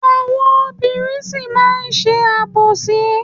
Àwọn obìnrin sì máa má ṣe àbòsí.